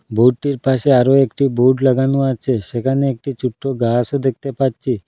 বোর্ডটির পাশে আরও একটি বোর্ড লাগানো আছে সেখানে একটি ছোট্ট গাসও দেখতে পাচ্ছি।